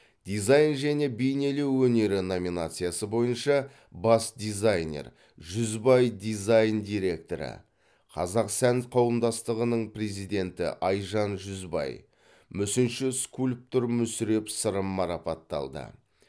дизайн және бейнелеу өнері номинациясы бойынша бас дизайнер жүзбай дизайн директоры қазақ сән қауымдастығының президенті айжан жүзбай мүсінші скульптор мүсіреп сырым марапатталды